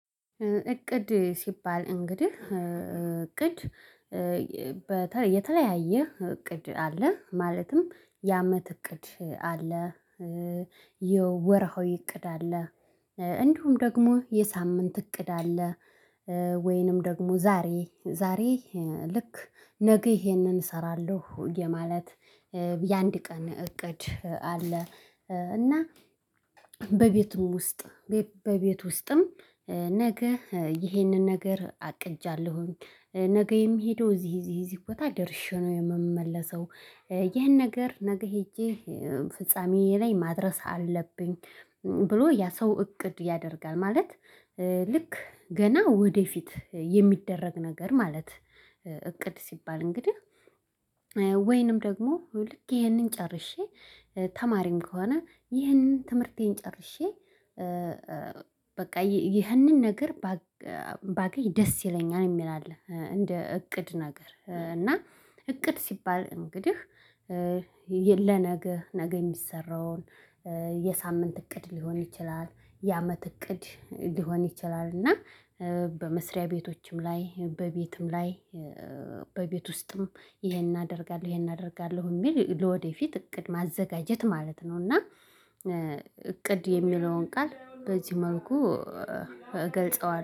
እቅድ ሲባል እንግዲህ እቅድ የተለያየ እቅድ አለ ማለትም የአመት እቅድ አለ። የወርሀዊ እቅድ አለ። እንዲሁም ደግሞ የሳምንት እቅድ አለ። ወይንም ደግሞ ዛሬ ዛሬ ልክ ነገ ይሄንን እሰራለሁ የማለት የአንድ ቀን እቅድ አለ። እና በቤቱም ውስጥ በቤት ውስጥም ነገ ይሄንን ነገር አቅልጃለሁኝ። ነገ የምሄደው እዚህ እዚህ እዚህ ቦታ ደርሼ ነው የምመለሰው። ይህን ነገር ነገ ሄጄ ፍጻሜ ላይ ማድረስ አለብኝ። ብሎ ያ ሰው እቅድ ያደርጋል ማለት። ልክ ገና ወደፊት የሚደረግ ነገር ማለት። እቅድ ሲባል እንግዲህ። ወይንም ደግሞ ልክ ይሄንን ጨርሼ ተማሪም ከሆነ ይህንን ትምህርቴን ጨርሼ። በቃ ይህንን ነገር ባገኝ ደስ ይለኛል የሚል አለ። እንደ እቅድ ነገር እና እቅድ ሲባል እንግዲህ። ለነገ ነገ የሚሰራውን የሳምንት እቅድ ሊሆን ይችላል የአመት እቅድ ሊሆን ይችላል። እና በመስሪያ ቤቶችም ላይ በቤትም ላይ። በቤት ውስጥም ይሄን አደርጋለሁ ይሄን አደርጋለሁ የሚል ለወደፊት እቅድ ማዘጋጀት ማለት ነው። እና እቅድ የሚለውን ቃል በዚህ መልኩ እገልጸዋለሁ